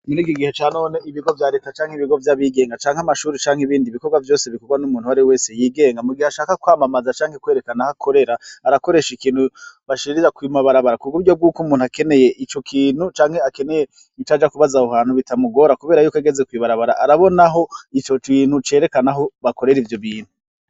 Muri kigihe ca none ibigo vya reta canke ibigo vy'abigenga canke amashuri canke ibindi ibikorwa vyose bikorwa n'umuntu wari wese yigenga mu gihe ashaka kwamamaza canke kwerekana aho akorera arakoresha ikintu bashirira kuma barabara ku buryo bw'uko umuntu akeneye ico kintu canke akeneye ic aja kubaza aho hantu bitamugora kubera yuko ageze kuibarabara arabonaho ico cintu cerekanaho bakorera ivyo bintu.